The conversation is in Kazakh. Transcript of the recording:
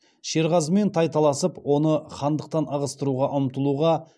шерғазымен тайталасып оны хандықтан ығыстыруға ұмтылуға